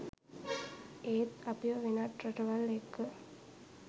ඒත් අපිව වෙනත් රටවල් එක්ක